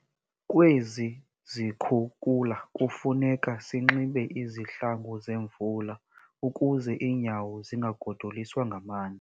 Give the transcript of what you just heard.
Kwezi zikhukula kufuneka sinxibe izihlangu zemvula ukuze iinyawo zingagodoliswa ngamanzi.